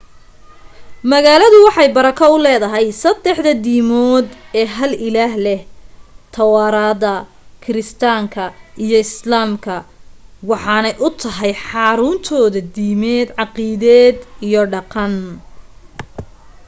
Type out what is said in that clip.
magalaadu waxay barako u leedahay saddexda diimood ee hal ilaah leh tawaraadda kiristaanka iyo islaamka waxaanay u tahay xaruntooda diimeed caaqiideed iyo dhaqan